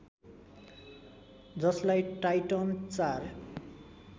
जसलाई टाइटन ४